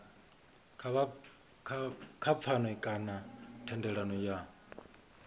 kha pfano kana thendelano ya